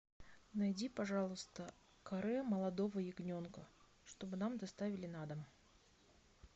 найди пожалуйста каре молодого ягненка чтобы нам доставили на дом